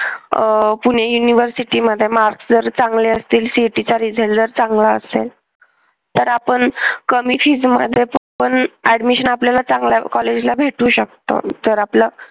अह कुणी university मध्ये marks जर चांगले असतील CET चा result जर चांगला असेल तर आपण कमी fees मध्ये पण admission आपल्याला चांगल्या कॉलेजला भेटू शकत जर आपलं